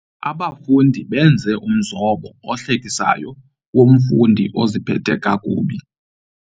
Abafundi benze umzobo ohlekisayo womfundi oziphethe kakubi.